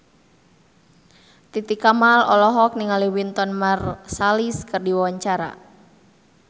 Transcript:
Titi Kamal olohok ningali Wynton Marsalis keur diwawancara